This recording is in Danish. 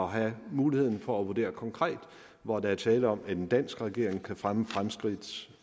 at have muligheden for at vurdere konkret hvor der er tale om at en dansk regering kan fremme fremskridt